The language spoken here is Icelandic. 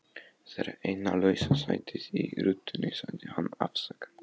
Þetta er eina lausa sætið í rútunni sagði hann afsakandi.